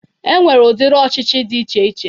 E nwere ụdiri ọchịchị dị iche iche